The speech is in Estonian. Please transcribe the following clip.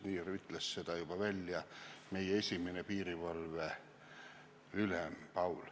Nii ütles välja juba meie esimene piirivalveülem Paul.